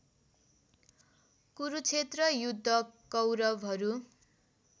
कुरुक्षेत्र युद्ध कौरवहरू